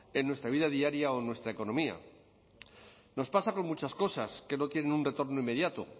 en nuestra vida diaria o en nuestra economía nos pasa con muchas cosas que no tienen un retorno inmediato